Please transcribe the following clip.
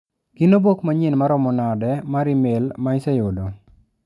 Gin obok manyien maromo nade mar imel ma iseyudo